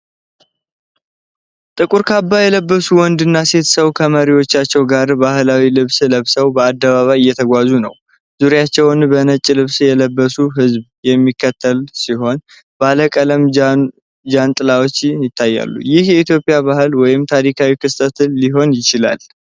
ጥቁር ካባ የለበሱ ወንድና ሴት ሰው ከመሪዎቻቸው ጋር ባህላዊ ልብስ ለብሰው በአደባባይ እየተጓዙ ነው። ዙሪያቸውን በነጭ ልብስ የለበሰ ህዝብ የሚከተል ሲሆን፣ ባለቀለም ጃንጥላዎች ይታያሉ። ይህ የኢትዮጵያ በዓል ወይም ታሪካዊ ክስተት ሊሆን ይችላል?